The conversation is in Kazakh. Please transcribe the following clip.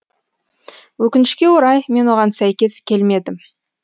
өкінішке орай мен оған сәйкес келмедім